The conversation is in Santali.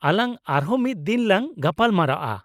ᱟᱞᱟᱝ ᱟᱨᱦᱚᱸ ᱢᱤᱫ ᱫᱤᱱ ᱞᱟᱝ ᱜᱟᱯᱟᱞ ᱢᱟᱨᱟᱣᱼᱟ ᱾